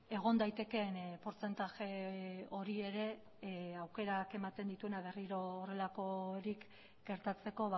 egon daitekeen portzentaje hori ere aukerak ematen dituena berriro horrelakorik gertatzeko